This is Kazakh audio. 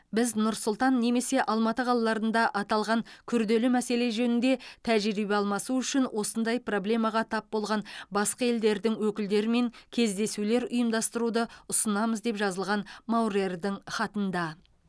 біз нұр сұлтан немесе алматы қалаларында аталған күрделі мәселе жөнінде тәжірибе алмасу үшін осындай проблемаға тап болған басқа елдердің өкілдерімен кездесулер ұйымдастыруды ұсынамыз деп жазылған маурердің хатында